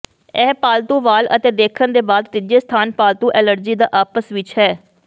ਇਹ ਪਾਲਤੂ ਵਾਲ ਅਤੇ ਦੇਕਣ ਦੇ ਬਾਅਦ ਤੀਜੇ ਸਥਾਨ ਪਾਲਤੂ ਐਲਰਜੀ ਦਾ ਆਪਸ ਵਿੱਚ ਹੈ